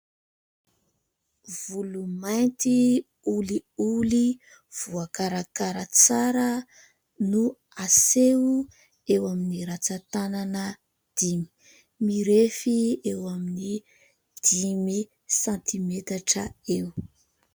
Volo mainty olioly, voakarakara tsara no aseho eo amin'ny ratsan-tanana dimy mirefy eo amin'ny dimy santimetatra eo.